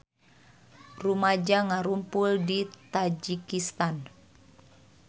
Rumaja ngarumpul di Tajikistan